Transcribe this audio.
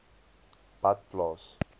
badplaas